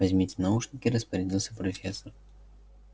возьмите наушники распорядилась профессор